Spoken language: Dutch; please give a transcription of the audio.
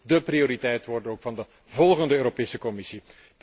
Dat moet ook dé prioriteit worden van de volgende Europese Commissie.